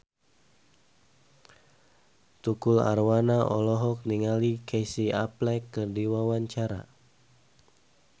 Tukul Arwana olohok ningali Casey Affleck keur diwawancara